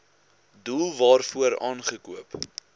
doel waarvoor aangekoop